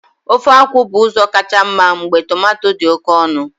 Ofe akwu bu uzo kacha mma mgbe tomato di oke onu.